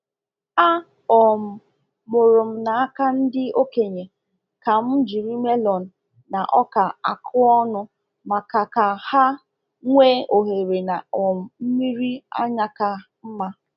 A um mụrụ m n'aka ndị okenye ka m jiri melon na ọka akụọ ọnụ maka ka ha nwee ohere na um mmiri anya ka mma.